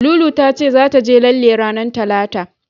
Lulu ta ce zata je lalle ranar Talata.